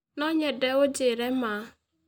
No nyende ũnjĩĩre ma.